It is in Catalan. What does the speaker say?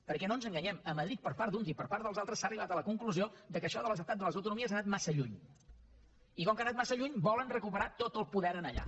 perquè no ens enganyem a madrid per part d’uns i per part dels altres s’ha arribat a la conclusió que això de l’estat de les autonomies ha anat massa lluny i com que ha anat massa lluny volen recuperar tot el poder allà